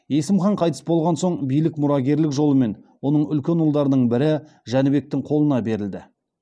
есім хан қайтыс болған соң билік мұрагерлік жолмен оның үлкен ұлдарының бірі жәнібектің қолына берілді